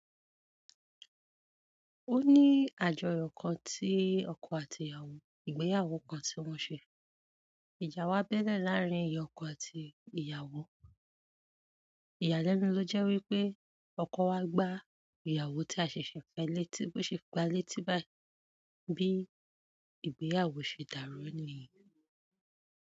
O ní àjọyọ̀ kan tí ọkọ àti ìyàwó, ìgbéyàwó kan tí wọ́n ṣe. Ìjà wa bẹ́ẹ́lẹ̀ làárín ìyá ọkọ àti ìyàwó. Ìyàlẹ́nu ló jẹ́ wípé ọkọ wa gbá ìyàwó tí a ṣeṣẹ̀ fẹ̀ létí bó ṣe gba létí báyìí. Bí ìgbéyàwó ṣe dàrú níyen.